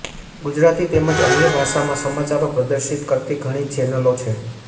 ગુજરાતી તેમજ અન્ય ભાષામાં સમાચારો પ્રદર્શિત કરતી ઘણી ચેનલો છે